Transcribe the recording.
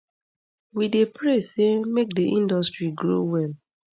we dey pray say make di industry grow well